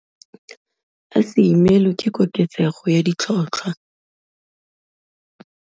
A se imelwe ke koketsego ya ditlhotlhwa.